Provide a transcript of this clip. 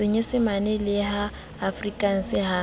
senyesemane le ya afrikanse ha